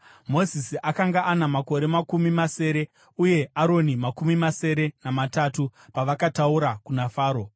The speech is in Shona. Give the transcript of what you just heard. Mozisi akanga ana makore makumi masere uye Aroni makumi masere namatatu pavakataura kuna Faro.